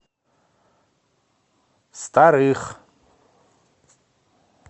старых